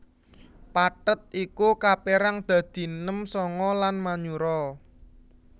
Pathet iku kapérang dadi nem sanga lan manyura